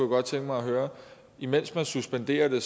godt tænke mig at høre imens man suspenderer det